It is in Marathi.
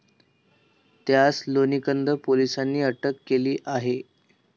त्यास लोणीकंद पोलिसांनी अटक केली आहे.